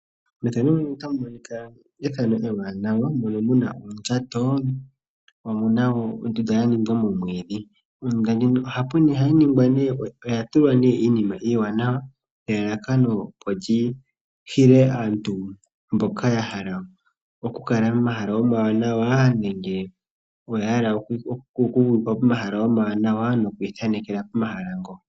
Methano muno otamu monika ethano ewanawa mono muna oondjato, omuna wo ondunda ya ningwa momwiidhi. Ondunda ndjino oya tulwa nee iinima iwanawa nelalakano opo lyi hile aantu mboka ya hala oku kala momahala omawanawa nenge oya hala oku vululukilwa pomahala omawanawa noku ithanekela pomahala ngo.